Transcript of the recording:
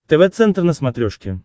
тв центр на смотрешке